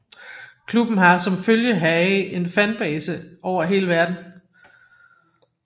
Klubben har som følge heraf en fanbase over hele verden